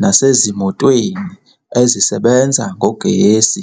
nasezimotweni ezisebenza ngogesi.